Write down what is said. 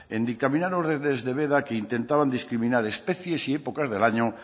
de veda que intentaban discriminar especies y épocas del año